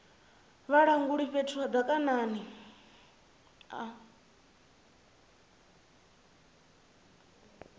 vhalanguli fhethu ha madaka a